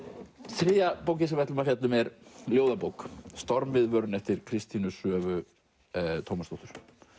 þriðja bókin sem við ætlum að fjalla um er ljóðabók Stormviðvörun eftir Kristínu Svövu Tómasdóttur